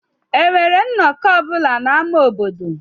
Enwere nnọkọ ọ bụla n'ámá obodo?